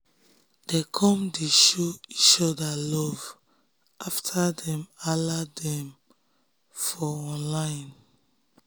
dem come dey show each orda love afta dem hala dem for online